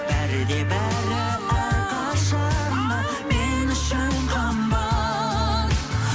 бәрі де бәрі әрқашан да мен үшін қымбат